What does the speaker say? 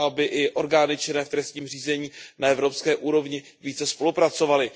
A aby i orgány činné v trestním řízení na evropské úrovni více spolupracovaly.